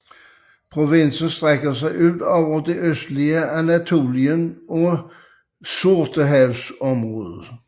Provinsen strækker sig ud over det østlige Anatolien og Sortehavsområdet